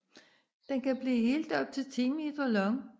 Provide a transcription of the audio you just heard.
Den kan blive helt op til 10 meter lang